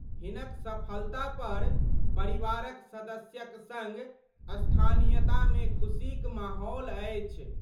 हिनक सफलता पर परिवारक सदस्यक संग स्थानीयता मे खुशीक माहौल अछि।